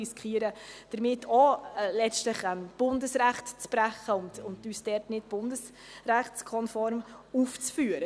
Damit riskieren wir letztlich auch, Bundesrecht zu brechen und uns dort nicht bundesrechtskonform aufzuführen.